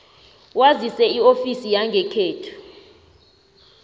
wazise iofisi yangekhenu